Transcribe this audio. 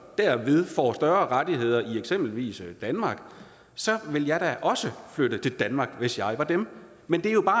derved får større rettigheder i eksempelvis danmark ville jeg da også flytte til danmark hvis jeg var dem men det er jo bare